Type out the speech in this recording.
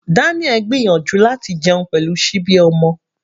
Daniel gbìyànjú láti jẹun pẹ̀lú síbi ọmọ.